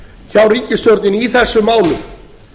hjá ríkisstjórninni í þessum málum